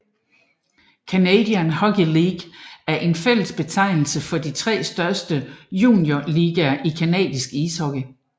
Canadian Hockey League er en fælles betegnelse for de tre største juniorligaer i canadisk ishockey